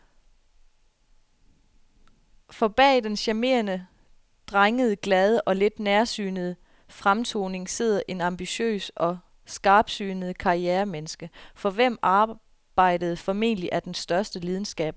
For bag den charmerende, drengede, glade og lidt nærsynede fremtoning sidder et ambitiøst og skarpsynet karrieremenneske, for hvem arbejdet formentlig er den største lidenskab overhovedet.